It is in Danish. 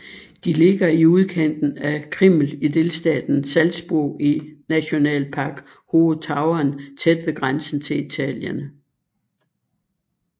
De ligger i udkanten af Krimml i delstaten Salzburg i Nationalpark Hohe Tauern tæt ved grænsen til Italien